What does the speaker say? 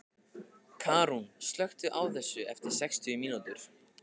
Karún, slökktu á þessu eftir sextíu mínútur.